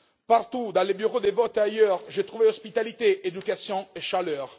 Partout, dans les bureaux de vote et ailleurs dans le pays, j'ai trouvé hospitalité, éducation et chaleur.